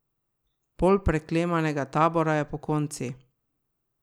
Pol preklemanega tabora je pokonci.